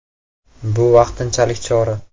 Bu vaqtinchalik chora.